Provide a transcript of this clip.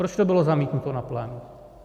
Proč to bylo zamítnuto na plénu?